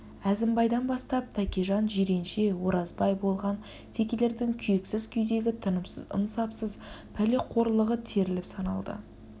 әзімбайдан бастап тәкежан жиренше оразбай болған текелердің күйексіз күйдегі тынымсыз ынсапсыз пәлеқорлығы теріліп саналды